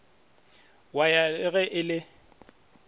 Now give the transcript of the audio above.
wa ya le ge e